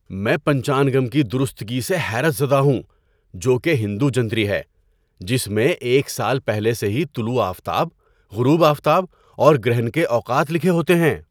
میں پنچانگم کی درستگی سے حیرت زدہ ہوں، جو کہ ہندو جنتری ہے جس میں ایک سال پہلے سے ہی طلوع آفتاب، غروب آفتاب اور گرہن کے اوقات لکھے ہوتے ہیں۔